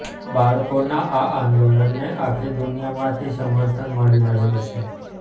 બાળકોના આ આંદોલનને આખી દુનિયામાંથી સમર્થન મળી રહ્યું છે